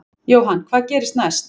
Jóhann: Hvað gerist næst?